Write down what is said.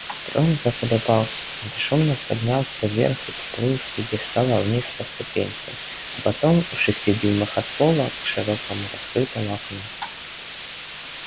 трон заколебался бесшумно поднялся вверх и поплыл с пьедестала вниз по ступенькам а потом в шести дюймах от пола к широко раскрытому окну